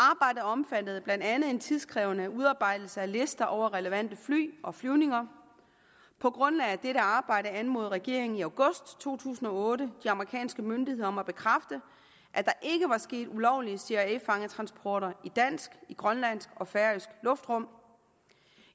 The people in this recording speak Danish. omfattede blandt andet en tidkrævende udarbejdelse af lister over relevante fly og flyvninger på grundlag af dette arbejde anmodede regeringen i august to tusind og otte de amerikanske myndigheder om at bekræfte at der ikke var sket ulovlige cia fangetransporter i dansk grønlandsk og færøsk luftrum